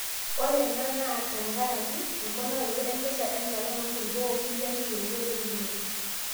ore ena naa tenkaraki emponarato enkesha enchalan oo nkulupuok okulie ake yieunot eunore